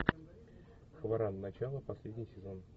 хваран начало последний сезон